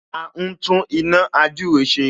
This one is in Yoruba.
A ń tún iná ījúre ṣe